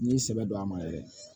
N'i y'i sɛbɛ don a ma yɛrɛ